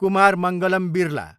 Kumar Mangalam Birla